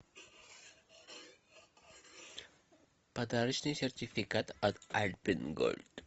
подарочный сертификат от альпен гольд